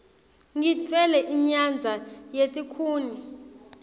ngitfwele inyadza yetikhuni